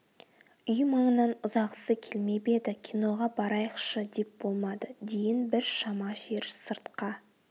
үй маңынан ұзағысы келмеп еді киноға барайықшы деп болмады дейін бір шама жер сыртқа